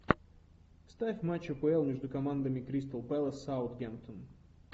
ставь матч апл между командами кристал пэлас саутгемптон